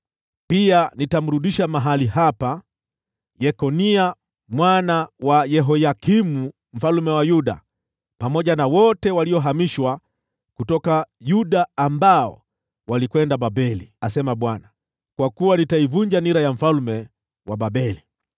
Pia nitamrudisha mahali hapa Yekonia mwana wa Yehoyakimu mfalme wa Yuda, pamoja na wote waliohamishwa kutoka Yuda ambao walikwenda Babeli,’ asema Bwana , ‘kwa kuwa nitaivunja nira ya mfalme wa Babeli.’ ”